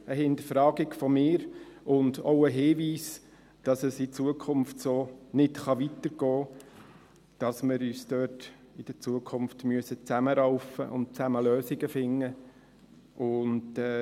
Dies einfach eine Hinterfragung von mir und auch ein Hinweis, dass es in Zukunft so nicht weitergehen kann, dass wir uns diesbezüglich in Zukunft zusammenraufen und zusammen Lösungen finden müssen.